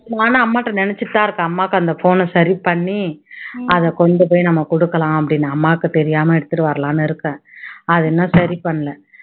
நானும் அம்மாட்ட நினைச்சுட்டு தான் இருக்கேன் அம்மாக்கு அந்த phone அ சரி பண்ணி அதை கொண்டு போய் நம்ம கொடுக்கலாம் அப்படின்னு அம்மாக்கு தெரியாம எடுத்துட்டு வரலாம்னு இருக்கேன் அதை இன்னும் சரி பண்ணல